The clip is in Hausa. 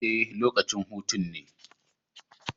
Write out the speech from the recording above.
Ee, lokacin hutun ne